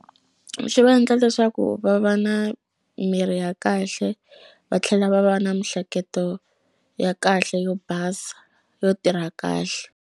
Xi va endla leswaku va va na mirhi ya kahle va tlhela va va na mihleketo ya kahle yo basa yo tirha kahle.